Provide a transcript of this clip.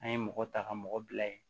An ye mɔgɔ ta ka mɔgɔ bila ye